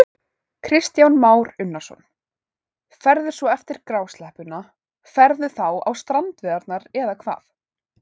Kristján Már Unnarsson: Ferðu svo eftir grásleppuna, ferðu þá á strandveiðarnar eða hvað?